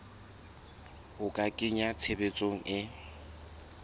ho a kenya tshebetsong e